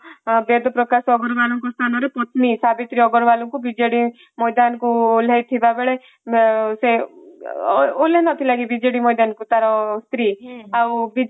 ବେଦ ପ୍ରକାଶ ଅଗ୍ରୱାଲ ସ୍ଥାନରେ ପତ୍ନୀ ସାବିତ୍ରୀ ଅଗ୍ରୱାଲ କୁ ବିଜେଡି ମଇଦାନକୁ ଓହ୍ଲାଇ ଥିବା ବେଳେ ସେ ଓହ୍ଲାଇ ନଥିଲା କି ଭଲ ନଥିବା କି ବିଜେଡି ମଇଦାନକୁ ତାର ସ୍ତ୍ରୀ ଆଉ